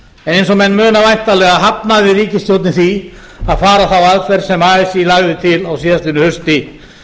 eins og menn muna væntanlega hafnaði ríkisstjórnin því að fara þá aðferð sem así lagði til á síðastliðnu hausti